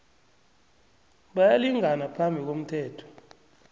bayalingana phambi komthetho